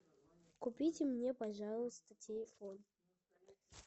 купите мне пожалуйста телефон